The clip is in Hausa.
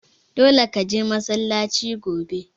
Dole ka je masallaci gobe!